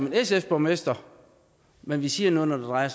en sf borgmester men vi siger noget når det drejer